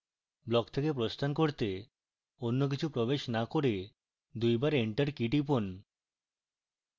block থেকে প্রস্থান করতে অন্য কিছু প্রবেশ to করে দুবার enter key টিপুন